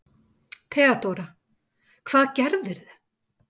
THEODÓRA: Hvað gerðirðu?